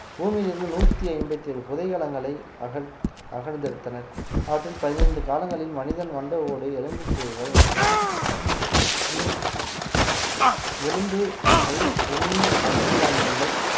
பூமியிலிருந்து நூத்தி ஐம்பத்தி ஏழு புதைகலங்களை அகழ்~ அகழ்ந்தெடுத்தனர் அவற்றில் பதினைந்து காலங்களில் மனிதன் மண்ட ஓடு எலும்புக்கூடுகள் மற்றும் உம் எலும்புகள் உம்மி அரிசி தானியங்கள்